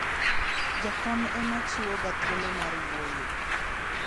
jakom ema chiwo ga thuolo mar wuoyo